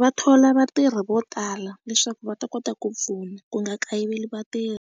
va thola vatirhi vo tala leswaku va ta kota ku pfuna ku nga kayiveli vatirhi.